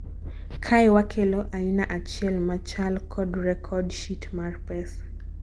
kae, wakelo aina achiel machal kod record sheet mar pesa